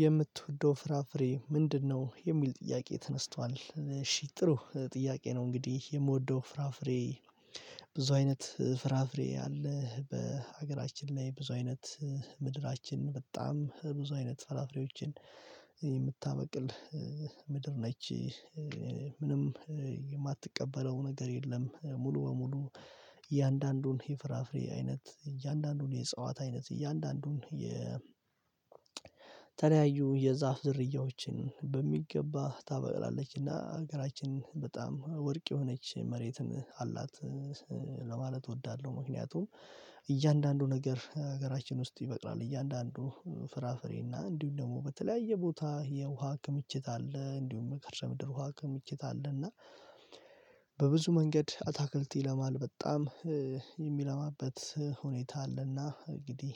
የምትወደው ፍራፍሬ ምንድነው? የሚል ጥያቄ ተነስቷል እሺ ጥሩ ጥያቄ ነው እንግዲህ የምወደው ፍራፍሬ። ብዙ አይነት ፍራፍሬ አለህ በሀገራችን ላይ ብዙ አይነት ምድራችን በጣም ብዙ አይነት ፍራፍሬዎችን የምታበቅል ምድር ነች። ምንም የማትቀበለው ነገር የለም ሙሉ በሙሉ። እያንዳንዱን የፍራፍሬ አይነት እያንዳንዱን የእጸዋት አይነት እያንዳንዱን የተለያዩ የዛፍ ዝርያዎችን በሚገባ ታበቅላለችና ሀገራችንን በጣም ወርቅ የሆነች መሬትን አላት። ለማለት እወዳለሁ ምክንያቱም እያንዳንዱ ነገር ሀገራችን ውስጥ ይበቅላል። እያንዳንዱ ፍራፍሬና እንዲሁም ደግሞ በተለያየ ቦታ የውሃ ክምችት አለ እንዲሁም የከርሰምድር ውሃ ክምችት አለ። እና በብዙ መንገድ አታክልት ይለማል በጣም የሚለማበት ሁኔታ አለና። እንግዲህ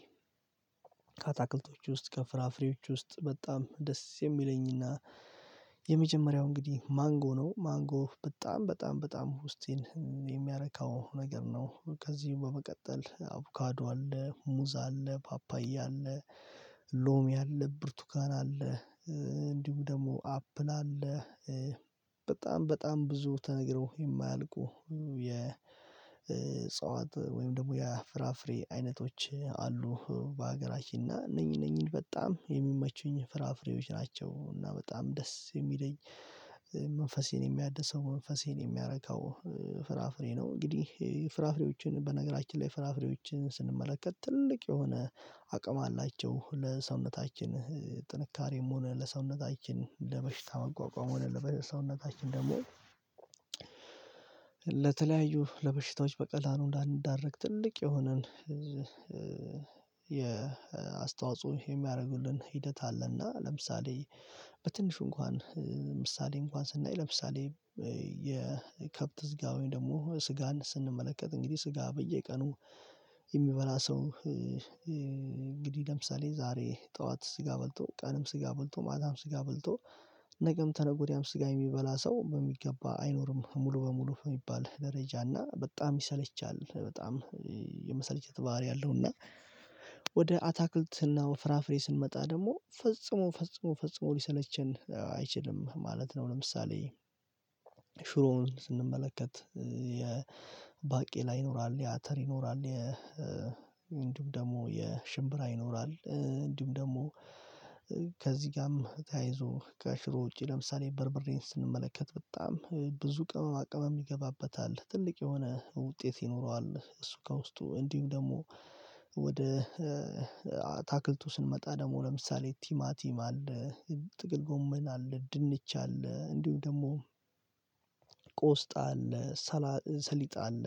ከአታክልቶች ውስጥ ከፍራፍሬዎች ውስጥ በጣም ደስ የሚለኝና የመጀመሪያው እንግዲህ ማንጎ ነው። ማንጎ በጣም በጣም በጣም ዉስጤን የሚያረካው ነገር ነው። ከዚህ በመቀጠል አቭካዶ አለ ሙዝ አለ ፓፓያ አለ። ሎሚ አለ ብርቱካን አለ። እንዲሁ ደግሞ አፕል አለ። በጣም በጣም ብዙ ተነግሮ የማያልቁ የጸዋት ወይም ደግሞ የፍራፍሬ አይነቶች አሉ በሀገራችን እና እነኚህ እነኚህን በጣም የሚመቹኝ ፍራፍሬዎች ናቸው። እና በጣም ደስ የሚለኝ መንፈሴን የሚያደሰው መንፈሴን የሚያረካው ፍራፍሬ ነው። እንግዲህ ፍራፍሬዎችን በነገራችን ላይ ፍራፍሬዎችን ስንመለከት ትልቅ የሆነ አቅም አላቸው። ለሰውነታችን ጥንካሬም ሆነ ለሰውነታችን ለበሽታ መቋቋም ሆነ ለሰውነታችን ደግሞ ለተለያዩ ለበሽታዎች በቀላሉ እንዳንዳረግ ትልቅ የሆነን የአስተዋጽኦ የሚያደርጉልን ሂደት አለና። ለምሳሌ በትንሹ እንኳን ምሳሌ እንኳን ስናይ ለምሳሌ የከብት ስጋን ወይም ደግሞ ስጋን ስንመለከት እንግዲህ ስጋ በየቀኑ የሚበላ ሰው። ለምሳሌ ዛሬ ጠዋት ስጋ በልቶ ቀንም ስጋ በልቶ ማታም ስጋ በልቶ ነገም ከነገ ወዲያ ስጋ የሚበላ ሰው በሚገባ አይኖርም። ሙሉ በሙሉ የሚባል ደረጃ እና በጣም ይሰለቻል በጣም የመሰልቸት ባህሪ አለው። እና ወደ አታክልት ነው ፍራፍሬ ስንመጣ ደግሞ ፈጽሞ ፈጽሞ ፈጽሞ ሊሰለቸን አይችልም ማለት ነው። ለምሳሌ ሽሮውን ስንመለከት የባቄላ ይኖራል የአተር ይኖራል እንዲሁም ደግሞ የሽምብራ ይኖራል። እንዲሁም ደግሞ ከዚህ ጋርም ተያይዞ ከሽሮ ውጪ ለምሳሌ በርብሬን ስንመለከት በጣም ብዙ ቅመማ ቅመም ይገባበታል ትልቅ የሆነ ውጤት ይኖረዋል። እሱ ከውስጡ እንዲሁ ደግሞ ወደ አታክልቱ ስንመጣ ደግሞ ለምሳሌ ቲማቲም አለ ጥቅል ጎመን አለ ድንች አለ እንዲሁ ደግሞ ቆስጣ አለ ሰሊጥ አለ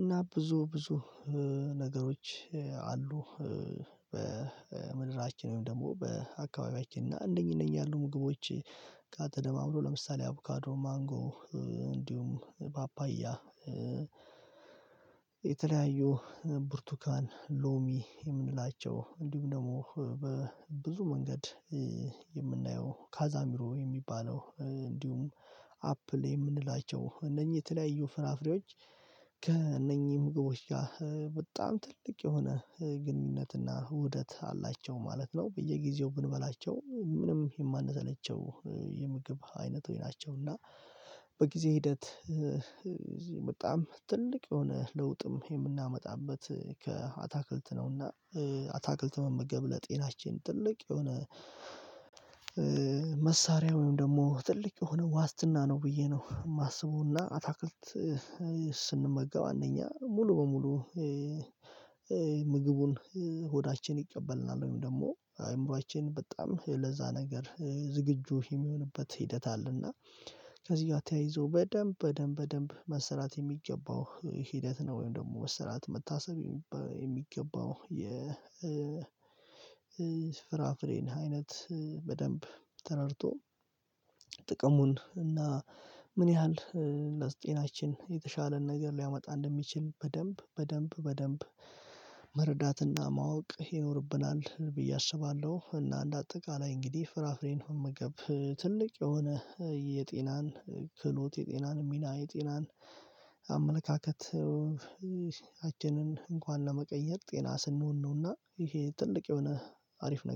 እና ብዙ ብዙ ነገሮች አሉ። በምድራችን ወይም ደግሞ በአካባቢያችን እና አንደኛ ነኝ ያሉ ምግቦች ጋር ደማምሮ ለምሳሌ አቡካዶ ማንጎ እንዲሁም ፓፓያ የተለያዩ ብርቱካን ሎሚ የምንላቸው እንዲሁም ደግሞ በብዙ መንገድ የምናየው ካዛሚሮ የሚባለው እንዲሁም አፕል የምንላቸው እነኚህ የተለያዩ ፍራፍሬዎች ከእነኚህ ምግቦች ጋር በጣም ትልቅ የሆነ ግንኙነትና ውደት አላቸው ማለት ነው። በየጊዜው ብንበላቸው ምንም የማንሰለቸው የምግብ አይነት ሆይ ናቸው። እና በጊዜ ሂደት እዚህ በጣም ትልቅ የሆነ ለውጥም የምናመጣበት ከአታክልት ነውና አታክልት መመገብ ለጤናችን ትልቅ የሆነ መሳሪያ ወይም ደግሞ ትልቅ የሆነ ዋስትና ነው። ብዬ ነው የማስበውና አታክልት ስንመገብ እኛ ሙሉ በሙሉ ምግቡን ሆዳችን ይቀበልናል ወይም ደግሞ አእምሮአችን በጣም ለዛ ነገር ዝግጁ የሚሆንበት ሂደት አለና። ከዚህ ጋር ተያይዞ በደንብ በደንብ በደንብ መሰራት የሚገባው ሂደት ነው። ወይም ደግሞ መሰራት መታሰብ የሚገባው የ ፍራፍሬን አይነት በደንብ ተረድቶ ጥቅሙን እና ምን ያህል የተሻለ ነገር ሊያመጣ እንደሚችል በደንብ በደንብ በደንብ መረዳትና ማወቅ ይኖርብናል ብዬ አስባለሁ። እና እንደ አጠቃላይ እንግዲህ ፍራፍሬን ሆነ መገብ ትልቅ የሆነ የጤናን ክህሎት የጤናን ሚና የጤናን አመለካከት እንኳን ለመቀየር ጤና ስንሆን ነውና ይሄ ትልቅ የሆነ አሪፍ ነገር